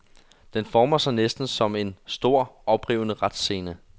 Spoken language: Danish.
Den former sig næsten som en, stor, oprivende retsscene.